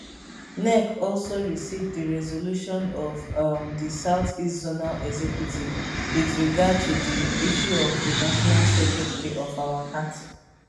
nec also receive di resolution of um di south east zonal executive wit regard to di issue of di national secretary of our party